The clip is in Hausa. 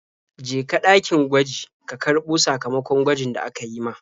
Je ka ɗakin gwaji ka karɓo sakamakon gwajin da aka yi ma.